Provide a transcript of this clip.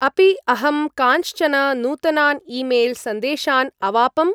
अपि अहं कांश्चन नूतनान् ई-मेल्.सन्देशान् अवापम्?